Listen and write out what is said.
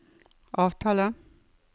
avtale